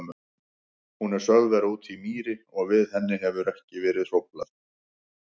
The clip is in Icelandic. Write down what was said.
Hún er sögð vera úti í mýri og við henni hefur ekki verið hróflað.